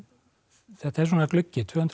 þetta er svona gluggi tvö hundruð ára